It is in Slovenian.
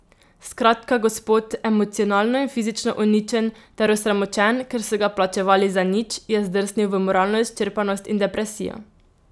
Skratka, gospod, emocionalno in fizično uničen ter osramočen, ker so ga plačevali za nič, je zdrsnil v moralno izčrpanost in depresijo.